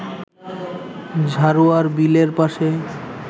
ঝাড়ুয়ার বিলের পাশে